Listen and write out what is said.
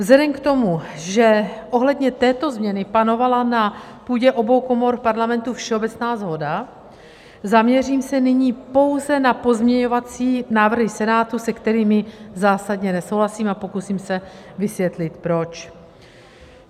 Vzhledem k tomu, že ohledně této změny panovala na půdě obou komor parlamentu všeobecná shoda, zaměřím se nyní pouze na pozměňovací návrhy Senátu, se kterými zásadně nesouhlasím, a pokusím se vysvětlit proč.